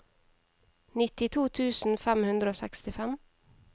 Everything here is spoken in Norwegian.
nittito tusen fem hundre og sekstifem